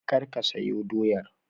Kar ka soya doyar!